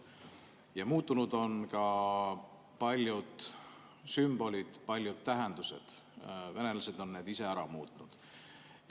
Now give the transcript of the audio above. Ja muutunud on ka paljud sümbolid, paljud tähendused, venelased on need ise ära muutnud.